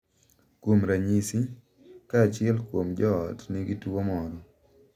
Kuom ranyisi, ka achiel kuom jo ot nigi tuwo moro, .